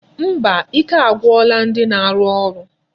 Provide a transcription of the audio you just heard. Mba, ike agwụla ndi na-arụ ụlọ.